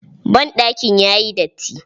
Banɗakin ya yi datti.